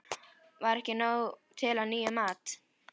Var ekki nóg til af nýjum mat?